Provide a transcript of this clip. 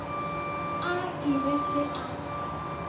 a e be se a